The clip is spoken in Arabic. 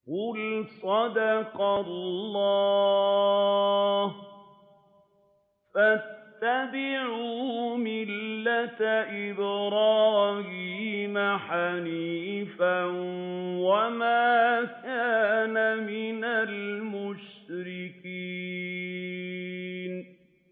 قُلْ صَدَقَ اللَّهُ ۗ فَاتَّبِعُوا مِلَّةَ إِبْرَاهِيمَ حَنِيفًا وَمَا كَانَ مِنَ الْمُشْرِكِينَ